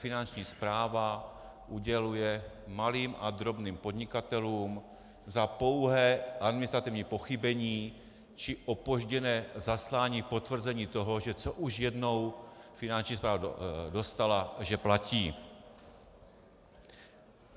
Finanční správa uděluje malým a drobným podnikatelům za pouhé administrativní pochybení či opožděné zaslání potvrzení toho, že co už jednou Finanční správa dostala, že platí.